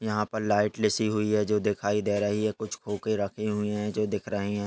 यहा लाइट लिसी हुई है जो दिखाई दे रही है कुछ खोके रखे हुए है जो दिख रहे है।